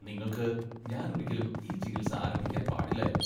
നിങ്ങൾക്ക് ഞാൻ ഒരിക്കലും ഈ ചികിത്സ ആരംഭിക്കാൻ പാടില്ലായിരുന്നു.